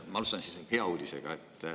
Ma alustan siis hea uudisega.